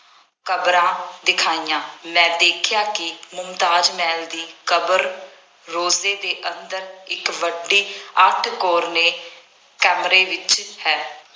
ਕਬਰਾਂ ਦਿਖਾਈਆਂ। ਮੈਂ ਦੇਖਿਆ ਕਿ ਮੁਮਤਾਜ ਮਹਿਲ ਦੀ ਕਬਰ ਰੋਜ਼ੇ ਦੇ ਅੰਦਰ ਇੱਕ ਵੱਡੀ ਅੱਠ ਕੋਰਨੇ ਕਮਰੇ ਵਿੱਚ ਹੈ।